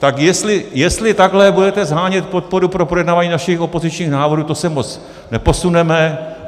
Tak jestli takhle budete shánět podporu pro projednávání našich opozičních návrhů, to se moc neposuneme.